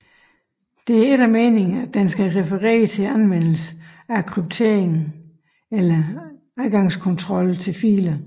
Det er ikke meningen at den skal referere til anvendelsen af kryptering eller adgangskontrol til filer